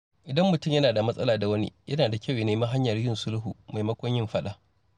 Idan mutum yana da matsala da wani, yana da kyau ya nemi hanyar sulhu maimakon yin faɗa.